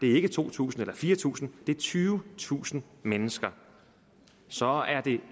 er to tusind eller fire tusind det er tyvetusind mennesker så det er